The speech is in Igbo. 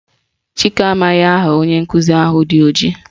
Chike amaghị aha onye nkụzi ahụ dị ojii